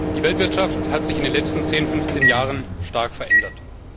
Die Weltwirtschaft hat sich in den letzten zehn, fünfzehn Jahren stark verändert.